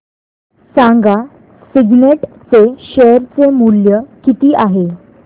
सांगा सिग्नेट चे शेअर चे मूल्य किती आहे